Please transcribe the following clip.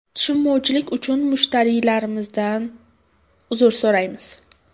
Tushunmovchilik uchun mushtariylarimizdan uzr so‘raymiz.